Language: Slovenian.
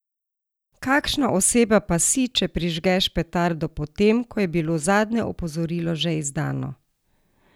Kakšna oseba pa si, če prižgeš petardo po tem, ko je bilo zadnje opozorilo že izdano?